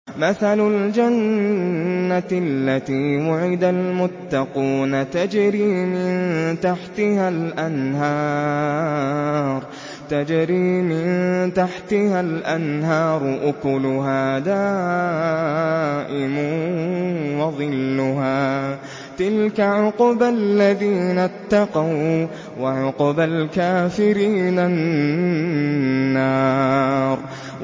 ۞ مَّثَلُ الْجَنَّةِ الَّتِي وُعِدَ الْمُتَّقُونَ ۖ تَجْرِي مِن تَحْتِهَا الْأَنْهَارُ ۖ أُكُلُهَا دَائِمٌ وَظِلُّهَا ۚ تِلْكَ عُقْبَى الَّذِينَ اتَّقَوا ۖ وَّعُقْبَى الْكَافِرِينَ النَّارُ